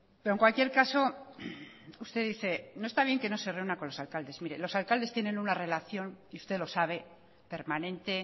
pero en cualquier caso usted dice no está bien que no se reúna con los alcaldes mire los alcaldes tienen una relación y usted lo sabe permanente